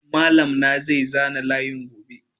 Malam na zai zana layin gobe.